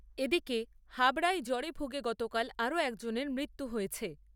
এদিকে, হাবড়ায় জ্বরে ভুগে গতকাল আরও একজনের মৃত্যু হয়েছে।